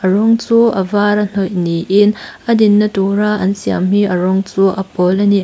a rawng chu a var a hnawih niin a din na tur a an siam hi a rawng chu a pawl ani.